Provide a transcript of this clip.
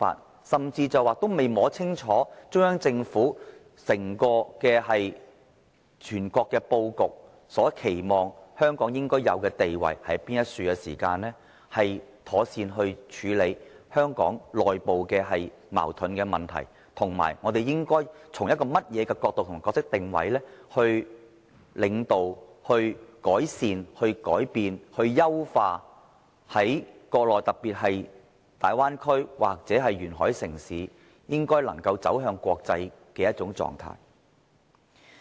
他甚至未摸清楚中央政府整體布局，國家期望香港應有的地位是甚麼，如何妥善處理香港的內部矛盾問題，以及我們應該從甚麼角度及扮演甚麼角色定位來領導、改善、改變、優化國內城市，特別是大灣區或沿海城市走向國際。